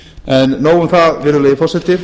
en nóg um það virðulegi forseti